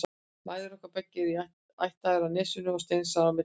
Mæður okkar beggja eru ættaðar af Nesinu og steinsnar á milli bæja.